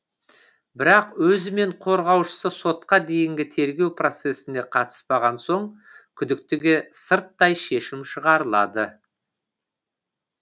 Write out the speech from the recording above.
бірақ өзі мен қорғаушысы сотқа дейінгі тергеу процесіне қатыспаған соң күдіктіге сырттай шешім шығарылады